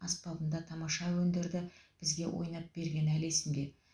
аспапында тамаша әуендерді бізге ойнап бергені әлі есімде